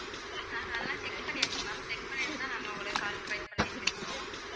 நாங்க அதெல்லாம் check பண்ணியாச்சு ma'am check பண்ணிட்டுதான் நாங்க உங்களய call try பண்ணியிட்டுருந்தோம்